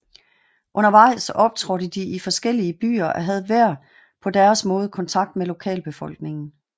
Undervejs optrådte de i forskellige byer og havde hver på deres måde kontakt med lokalbefolkningen